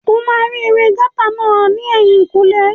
O máa rí ewé gáútà náà ní ẹ̀yìnkùlé